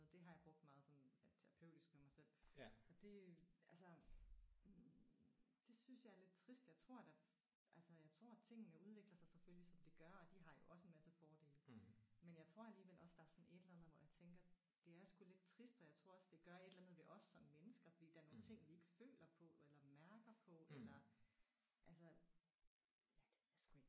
Det har jeg brugt meget sådan ja terapeutisk med mig selv. Og det altså det synes jeg er lidt trist. Jeg tror da altså jeg tror tingene udvikler sig selvfølgelig som de gør og de har jo også en masse fordele. Men jeg tror alligevel også der er sådan et eller andet hvor jeg tænker det er sgu lidt trist og jeg tror også det gør et eller andet ved os som mennesker fordi der er nogle ting vi ikke føler på eller mærker på eller altså ja det ved jeg sgu ikke